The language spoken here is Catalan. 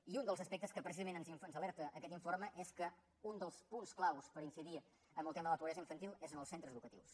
i un dels aspectes de què precisament ens alerta aquest informe és que un dels punts clau per incidir en el tema de la pobresa infantil és en els centres educatius